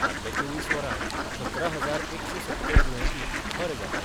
फाटल्या चोवीस वरांत सतरा हजार एकशे सत्तर दुयेंती बरे जाल्यात.